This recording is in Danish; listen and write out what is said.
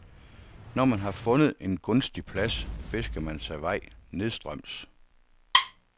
Når man har fundet en gunstig plads, fisker man sig vej nedstrøms.